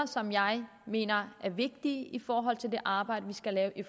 som jeg mener er vigtige i forhold til det arbejde vi skal lave i